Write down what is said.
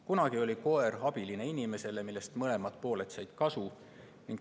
Kunagi oli koer inimese abiline, mõlemad pooled said suhtest kasu.